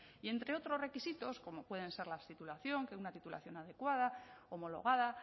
y entre otros requisitos como pueden ser la titulación una titulación adecuada homologada